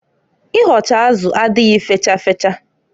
Ịhọcha azụ adịghị fecha fecha.